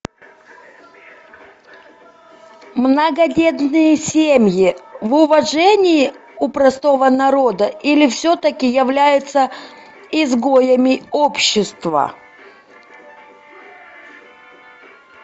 многодетные семьи в уважении у простого народа или все таки являются изгоями общества